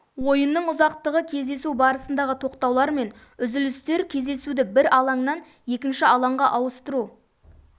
ойынның ұзақтығы кездесу барысындағы тоқтаулар мен үзілістер кездесуді бір алаңнан екінші алаңға ауыстыру